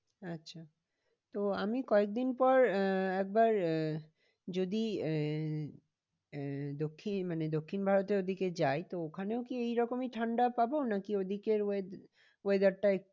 আচ্ছা তো আমি কয়েক দিন পর আহ একবার আহ যদি আহ আহ দক্ষিণ মানে দক্ষিণ ভারতের ওদিকে যাই তো ওখানেও কি এরকমই ঠান্ডা পাবো নাকি ওদিকের weather টা